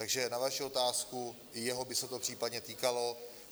Takže na vaši otázku: i jeho by se to případně týkalo.